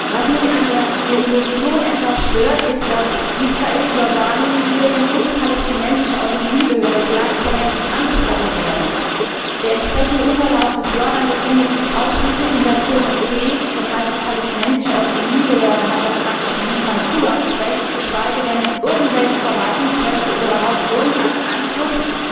Was mich an der Entschließung etwas stört ist, dass Israel, Jordanien, Syrien und die Palästinensische Autonomiebehörde gleichberechtigt angesprochen werden. Der Unterlauf des Jordans befindet sich ausschließlich in der Zone C, das heißt, die Palästinensische Autonomiebehörde hat dort praktisch noch nicht einmal ein Zugangsrecht, geschweige denn irgendwelche Verwaltungsrechte oder überhaupt irgendeinen Einfluss.